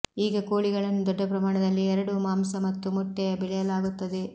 ಈಗ ಕೋಳಿಗಳನ್ನು ದೊಡ್ಡ ಪ್ರಮಾಣದಲ್ಲಿ ಎರಡೂ ಮಾಂಸ ಮತ್ತು ಮೊಟ್ಟೆಯ ಬೆಳೆಯಲಾಗುತ್ತದೆ